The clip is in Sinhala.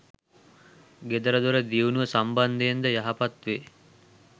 ගෙදරදොර දියුණුව සම්බන්ධයෙන්ද යහපත් වේ.